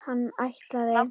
Hann ætlaði.